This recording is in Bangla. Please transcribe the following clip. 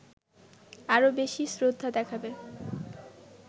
আরো বেশি শ্রদ্ধা দেখাবে